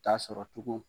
Ta sɔrɔ tugun